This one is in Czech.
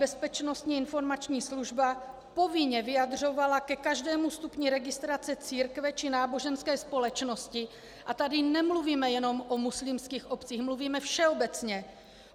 Bezpečnostní informační služba povinně vyjadřovala ke každému stupni registrace církve či náboženské společnosti, a tady nemluvíme jenom o muslimských obcích, mluvíme všeobecně.